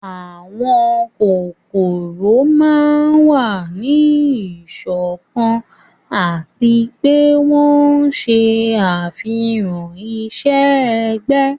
àwọn kókórò máa n wa ni iṣọkan ati pe wọn ṣe afihan iṣẹ-ẹgbẹ